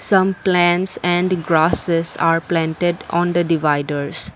some plants and grasses are planted on the dividers.